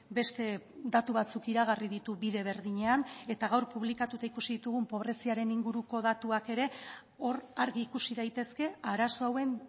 beste datu batzuk iragarri ditu bide berdinean eta gaur publikatuta ikusi ditugun pobreziaren inguruko datuak ere hor argi ikusi daitezke arazo hauen